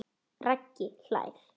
Raggi hlær.